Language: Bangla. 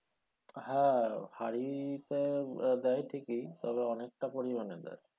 হ্যাঁ হাড়িতে দেয় ঠিকই তবে তবে অনেকটা পরিমানে দেয়।